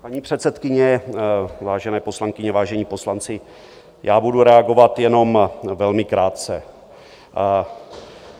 Paní předsedkyně, vážené poslankyně, vážení poslanci, já budu reagovat jenom velmi krátce.